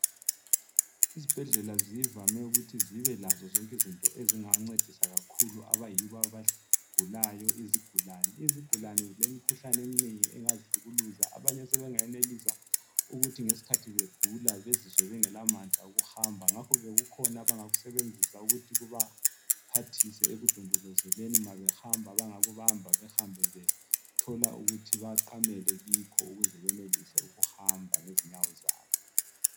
Izibhedlela zivame ukuthi zibelazo zonke izinto ezingancedisa kakhulu abayibo abagulayo izigulane . Izigulane zilemikhuhlane eminengi ezingabahlukuluza abanye sebengenelisa ukuthi ngesikhathi begula bezizwe sebengela mandla wokuhamba ngakho ke kukhona abangakusebenzisa ukuthi kubaphathise ekudondozeleni mabehamba abangakubamba behambe bethola ukuthi baqamele kikho ukuze benelise ukuhamba ngezinyawo zabo.